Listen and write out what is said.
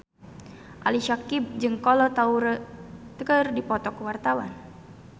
Ali Syakieb jeung Kolo Taure keur dipoto ku wartawan